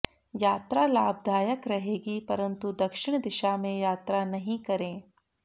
यात्रा लाभदायक रहेगी परन्तु दक्षिण दिशा में यात्रा नहीं करें